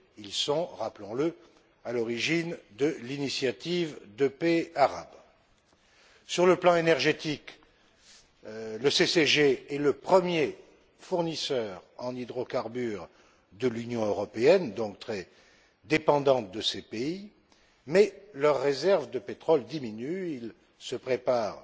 Ils sont, rappelons le, à l'origine de l'initiative de paix arabe. Sur le plan énergétique, le CCG est le premier fournisseur en hydrocarbures de l'Union européenne, qui est donc très dépendante de ces pays, mais leurs réserves de pétrole diminuent et ils se préparent